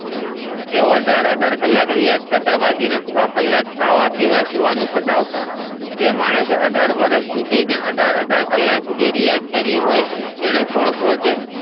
એઓ અઢાર અઢાર કલાક રિયાઝ કરતા બાકીના છ કલાક ખાવા પીવા સુવામાં પતાવતા એ માણસ એ અઢાર વરસ સુધી અને અઢાર અઢાર કલાક રિયાઝ કરી હોઈ એણે કોણ પોહચે